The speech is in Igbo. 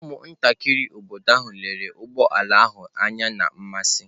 Ụmụntakịrị obodo ahụ lere ụgbọ ala ahụ anya na mmasị.